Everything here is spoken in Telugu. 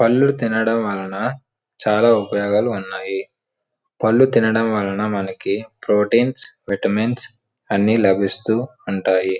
పళ్ళు తినడం వలన చాలా ఉపయోగాలు ఉన్నాయి. పళ్ళు తినడం వలన మనకి ప్రోటీన్స్ విటమిన్స్ అని లభిస్తూ ఉంటాయి.